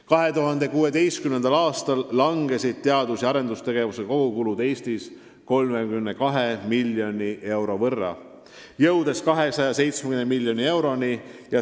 2016. aastal kahanesid teadus- ja arendustegevuse kogukulud Eestis 32 miljoni euro võrra, jõudes 270 miljoni euroni.